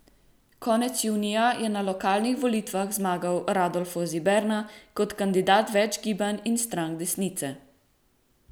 Konec junija je na lokalnih volitvah zmagal Rodolfo Ziberna kot kandidat več gibanj in strank desnice.